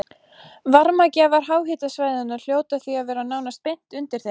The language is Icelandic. Varmagjafar háhitasvæðanna hljóta því að vera nánast beint undir þeim.